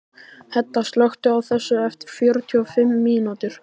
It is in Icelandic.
Hedda, slökktu á þessu eftir fjörutíu og fimm mínútur.